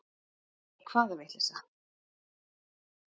Nei, hvaða vitleysa.